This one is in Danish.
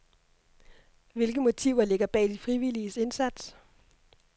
Hvilke motiver ligger bag de frivilliges indsats?